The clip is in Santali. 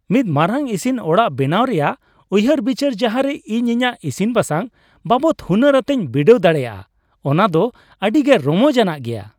ᱢᱤᱫ ᱢᱟᱨᱟᱝ ᱤᱥᱤᱱ ᱚᱲᱟᱜ ᱵᱮᱱᱟᱣ ᱨᱮᱭᱟᱜ ᱩᱭᱦᱟᱹᱨᱼᱵᱤᱪᱟᱹᱨ ᱡᱟᱦᱟᱨᱮ ᱤᱧ ᱤᱧᱟᱹᱜ ᱤᱥᱤᱱ ᱵᱟᱥᱟᱝ ᱵᱟᱵᱚᱫ ᱦᱩᱱᱟᱹᱨ ᱟᱛᱮᱧ ᱵᱤᱰᱟᱹᱣ ᱫᱟᱲᱮᱭᱟᱜᱼᱟ ᱚᱱᱟ ᱫᱚ ᱟᱹᱰᱤᱜᱮ ᱨᱚᱢᱚᱡ ᱟᱱᱟᱜ ᱜᱮᱭᱟ ᱾